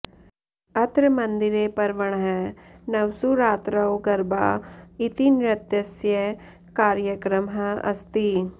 अत्र मन्दिरे पर्वणः नवसु रात्रौ गरबा इति नृत्यस्य कार्यक्रमः अस्ति